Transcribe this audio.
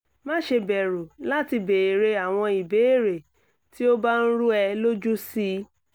má ṣe bẹ̀rù láti bèèrè àwọn ìbéèrè tí ó bá ń rú ẹ lójú sí i